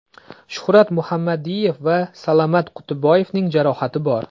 Shuhrat Muhammadiyev va Salamat Qutiboyevning jarohati bor.